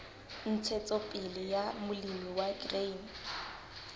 ntshetsopele ya molemi wa grain